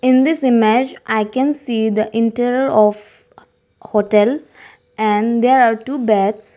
in this image i can see the interior of hotel and there are two beds.